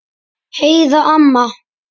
Heiða amma.